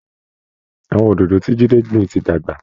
Àwọn oòdòdó ti Jídé gbìn ti dàgbà